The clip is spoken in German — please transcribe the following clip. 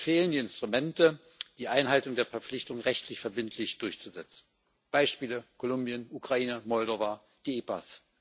Es fehlen die Instrumente, um die Einhaltung der Verpflichtungen rechtlich verbindlich durchzusetzen Beispiele Kolumbien, Ukraine, Moldau, die EPAs.